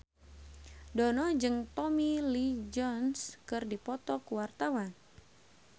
Dono jeung Tommy Lee Jones keur dipoto ku wartawan